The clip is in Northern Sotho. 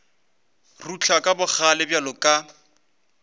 rutla ka bogale bjalo ka